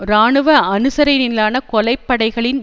இராணுவ அனுசரணையிலான கொலை படைகளின்